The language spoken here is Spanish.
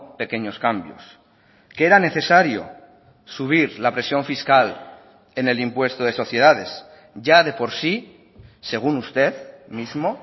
pequeños cambios que era necesario subir la presión fiscal en el impuesto de sociedades ya de por sí según usted mismo